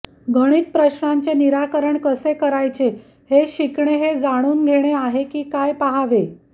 गणित प्रश्नांचे निराकरण कसे करायचे हे शिकणे हे जाणून घेणे आहे की काय पहावे